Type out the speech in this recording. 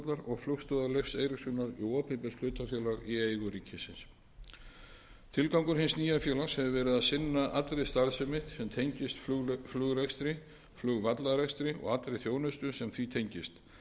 og flugstöðvar leifs eiríkssonar í opinbert hlutafélag í eigu ríkisins tilgangur hins nýja félags hefur verið að sinna allri starfsemi sem tengist flugrekstri flugvallarekstri og allri þjónustu sem því tengist rekstri flugstöðvar svo og annarri starfsemi